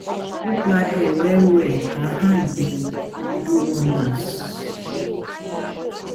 I dey first siddon for bed wen I wake before I go begin waka.